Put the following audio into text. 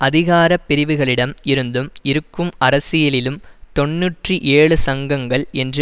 அதிகார பிரிவுகளிடம் இருந்தும் இருக்கும் அரசியலிலும் தொன்னூற்றி ஏழு தொழிற்சங்கங்கள் என்று